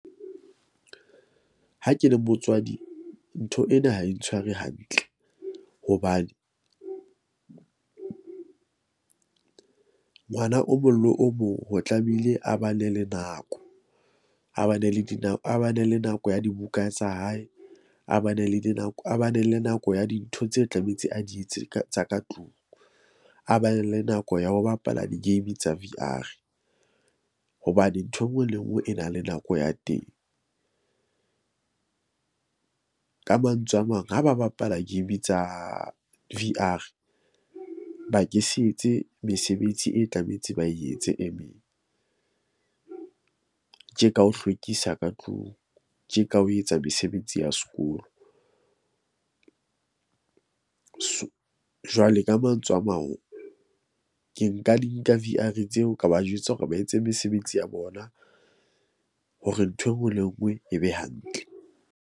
Ha ke le motswadi, ntho ena ha e ntshware hantle hobane ngwana o mong le o mong ho tlamehile a ba na le nako. A ba na le le di , a ba na le nako ya dibuka tsa hae, a ba ne le dinako, a ba ne le nako ya dintho tse tlametse a di etse ka tsa ka tlung, a ba ne le nako ya ho bapala di-game tsa V_R. Hobane ntho e nngwe le nngwe e na le nako ya teng ka mantswe a mang, ha ba bapala game tsa V_R, ba ke se etse mesebetsi e tlametse ba etse e meng, tje ka ho hlwekisa ka tlung tje ka ho etsa mesebetsi ya sekolo . So, jwale ka mantswe a mang, ke nka di nka V_R tseo ka ba jwetsa hore ba etse mesebetsi ya bona, hore ntho e nngwe le e nngwe e be hantle.